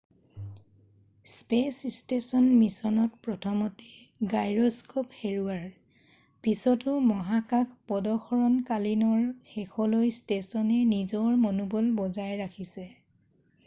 "Space station মিচনত প্ৰথমতে gyroscope হেৰুৱাৰ পিছতো, মহাকাশ পদসৰণকালীনৰ শেষলৈ ষ্টেচনে নিজৰ মনোবল বজাই ৰাখিছে ।""